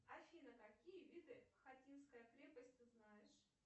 афина какие виды хотинская крепость ты знаешь